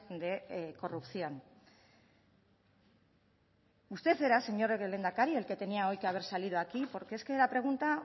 de corrupción usted era señor lehendakari el que tenia hoy que haber salido hoy aquí porque es que la pregunta